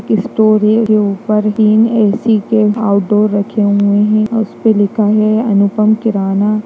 के स्टोर है के ऊपर तीन ए.सी. के आउट डोर रखे हुए हैं उस पर लिखा है अनुपम किराना।